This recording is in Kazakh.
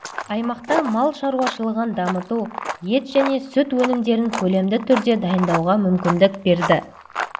аймақта мал шаруашылығын дамыту ет және сүт өнімдерін көлемді түрде дайындауға мүмкіндік берді